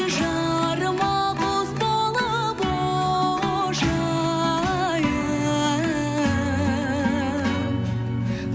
жарыма құс болып ұшайын